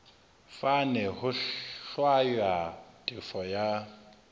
fane ho hlwaya tefo ya